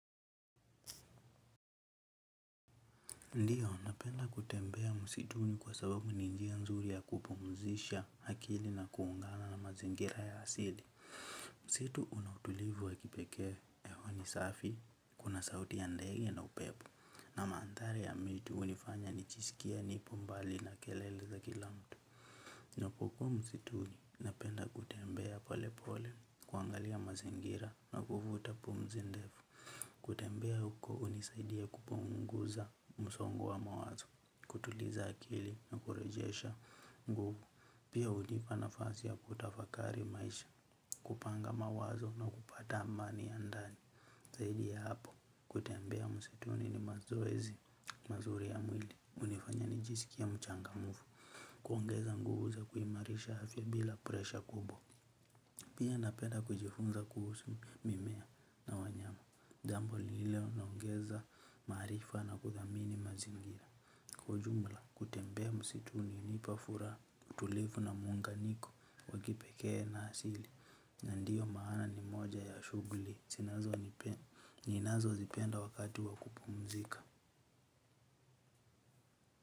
Ndiyo, napenda kutembea musituni kwa sababu ni njia nzuri ya kupumzisha hakili na kuungana na mazingira ya asili. Msitu una utulivu wa kipekee ewa ni safi, kuna sauti ya ndege na upepo, na maandhari ya miti unifanya nichiskie nipo mbali na kelele za kila mtu. Napokuwa musituni, napenda kutembea pole pole, kuangalia mazingira na kuvuta pumzi ndefu, kutembea huko unisaidia kupunguza musongo wa mawazo. Kutuliza akili na kurejesha nguvu. Pia hunipa nafasi ya kutafakari maisha. Kupanga mawazo na kupata amani ya ndani. Zaidi ya hapo. Kutembea musituni ni mazoezi mazuri ya mwili. Unifanya nijisikie mchangamufu. Kuongeza nguvu za kuimarisha afya bila presha kubwa. Pia napenda kujifunza kuhusu mimea na wanyama, jambo lililonongeza maarifa na kudhamini mazingira. Kwa ujumla kutembea msitu unipa fura utulivu na muunganiko wa kipekee na asili na ndiyo maana ni moja ya shuguli, ninazozipenda wakati wa kupumzika.